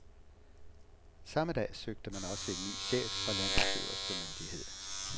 Samme dag søgte man også en ny chef for landets øverste myndighed.